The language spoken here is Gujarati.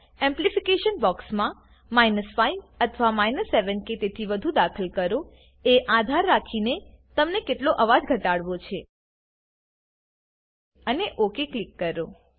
એમ્પલીફીકેશન બોક્સમાં 5 અથવા 7 કે તેથી વધુ દાખલ કરો એ આધાર રાખીને કે તમને કેટલો અવાજ ઘટાડવો છે અને ઓક ક્લિક કરો